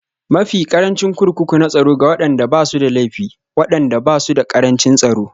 Mafi ƙarancin Kurkuku na Tsaro Ga waɗanda ba su da laifi, waɗannan ba su da ƙarancin tsaro